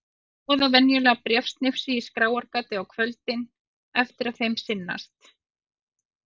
Þau troða venjulega bréfsnifsi í skráargatið á kvöldin eftir að þeim sinnast.